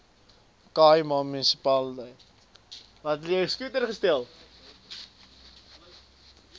khai ma munisipale